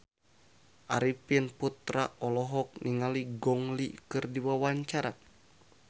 Arifin Putra olohok ningali Gong Li keur diwawancara